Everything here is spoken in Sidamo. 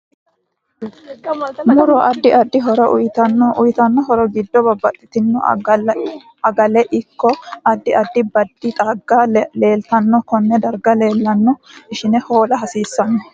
Muro addi addi horo uyiitanno uyiitanno horo giddo babbaxitino aagale ikko addi addi baadi xagga leeltanno konne darga leelanno ishine hoola hasiisanno